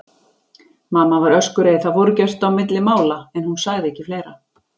Mamma var öskureið, það fór ekkert á milli mála, en hún sagði ekki fleira.